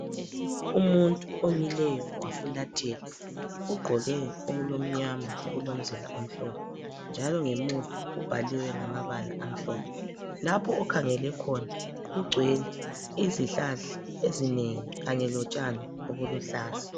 Umuntu omileyo wafulathela ugqoke okulomnyama okulomzila omhlophe njalo ngemuva kubhaliwe ngamabala amhlophe lapho okhangele khona kugcwele izihlahla ezinengi kanye lotshani obuluhlaza